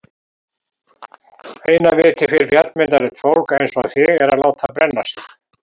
Eina vitið fyrir fjallmyndarlegt fólk einsog þig er að láta brenna sig.